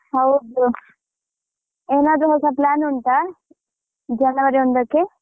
ಹೌದು ಏನಾದ್ರು ಹೊಸ plan ಉಂಟಾ ಜನವರಿ ಒಂದ್ಕಕ್ಕೆ.